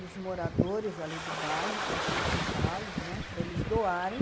os moradores ali do bairro, conscientizá-los, né, para eles doarem.